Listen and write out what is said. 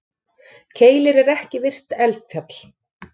Keilir er ekki virkt eldfjall.